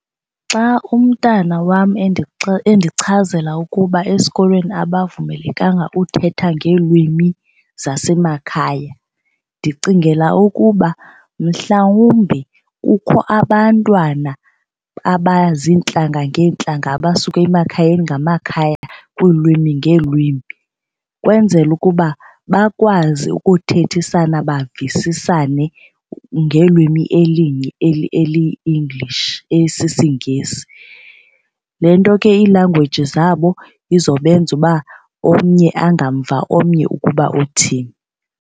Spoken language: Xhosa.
Xa umntana wam endichazela ukuba esikolweni abavumelekanga uthetha ngeelwimi zasemakhaya ndicingela ukuba mhlawumbi kukho abantwana abazintlanga ngeentlanga abasuka emakhayeni ngamakhaya kwiilwimi ngeelwimi kwenzela ukuba bakwazi ukuthethisana bavisisane ngelwimi elinye eliyi-English esisiNgesi. Le nto ke iilangweji zabo izobenza uba omnye angamva omnye ukuba uthini.